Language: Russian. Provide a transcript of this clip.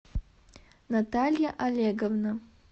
наталья олеговна